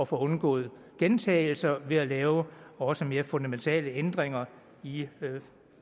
få undgået gentagelser ved at lave også mere fundamentale ændringer i